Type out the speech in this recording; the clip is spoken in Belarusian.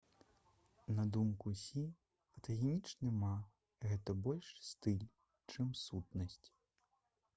на думку сі фотагенічны ма гэта больш стыль чым сутнасць